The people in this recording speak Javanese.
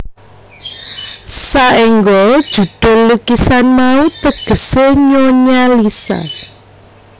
Saéngga judhul lukisan mau tegesé Nyonya Lisa